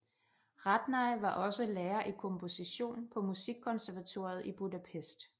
Radnai var også lærer i komposition på Musikkonservatoriet i Budapest